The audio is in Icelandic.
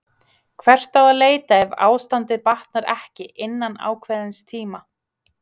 Hvert á að leita ef ástandið batnar ekki innan ákveðins tíma?